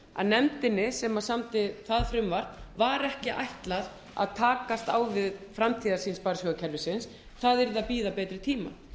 að nefndinni sem samdi það frumvarp var ekki ætlað að takast á við framtíðarsýn sparisjóðakerfisins það yrði að bíða betri tíma